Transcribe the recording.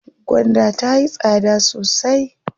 Gwanda tayi tsada sosai.